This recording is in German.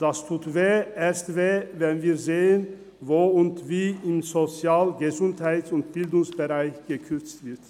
Das tut weh, erst recht, wenn wir sehen, wo und wie im Sozial-, Gesundheits- und Bildungsbereich gekürzt wird.